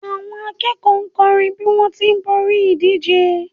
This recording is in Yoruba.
àwọn akẹ́kọ̀ọ́ kọrin bi wọn ti b'ori ìdíje